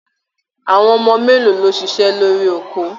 Àwọn ọmọ mélòó ló ṣiṣẹ́ lórí oko?